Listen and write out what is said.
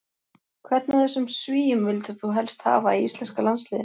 Hvern af þessum svíum vildir þú helst hafa í íslenska landsliðinu?